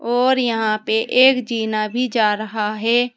और यहां पे एक जीना भी जा रहा है।